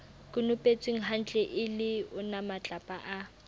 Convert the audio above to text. konopetswenghantle e le onamatlapa a